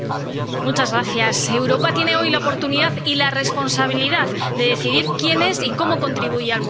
Señor presidente, Europa tiene hoy la oportunidad y la responsabilidad de decidir quién es y cómo contribuye al mundo